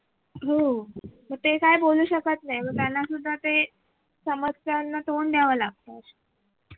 हो ते काय बोलू शकत नाही त्याना सुद्धा ते समस्यांना तोंड द्यावं लागत